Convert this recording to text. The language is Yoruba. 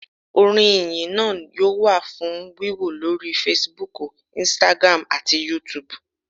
Orin Ìyìn náa yóò wà fún wíwò lórí Fasibúùkù, "Instagram" àti yúutùbù